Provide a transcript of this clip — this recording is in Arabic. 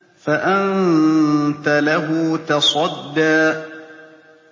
فَأَنتَ لَهُ تَصَدَّىٰ